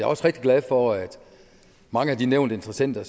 også rigtig glad for at mange af de nævnte interessenter